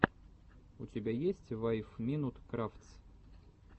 у тебя есть файв минут крафтс